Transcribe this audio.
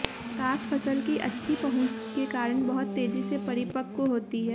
प्रकाश फसल की अच्छी पहुँच के कारण बहुत तेजी से परिपक्व होती है